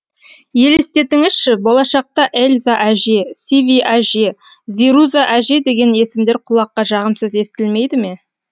елестетіңізші болашақта эльза әже сиви әже зируза әже деген есімдер құлаққа жағымсыз естілмейді ме